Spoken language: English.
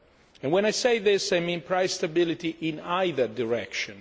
And when I say this, I mean price stability in either direction.